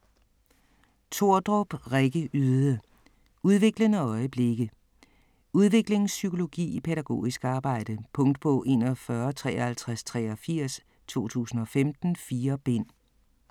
Tordrup, Rikke Yde: Udviklende øjeblikke Udviklingspsykologi i pædagogisk arbejde. Punktbog 415383 2015. 4 bind.